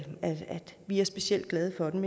vi er specielt glade for den